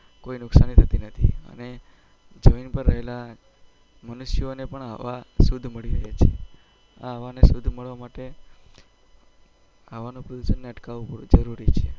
કોઈ નુકશાની થતી નથી અને જમીન પર રહેલા મનુષ્યોને પણ હવા શુદ્ધ મળી રહે છે આ હવાને શુદ્ધ મળવા માટે હવાના અટકવું પડશે જરૂરી છે